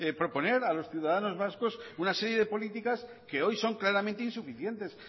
proponer a los ciudadanos vascos una serie de políticas que hoy son claramente insuficientes